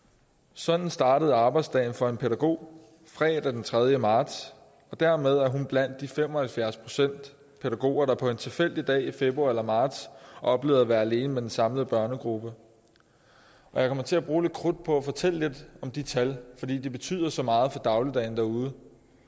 sådan startede arbejdsdagen for en pædagog fredag den tredje marts og dermed er hun blandt de fem og halvfjerds procent pædagoger der på en tilfældig dag i februar eller marts oplevede at være alene med den samlede børnegruppe jeg kommer til at bruge lidt krudt på at fortælle om de tal fordi de betyder så meget for dagligdagen derude